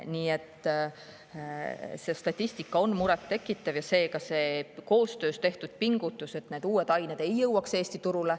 Nii et see statistika on muret tekitav ja koostöös pingutatakse, et need uued ained ei jõuaks Eesti turule.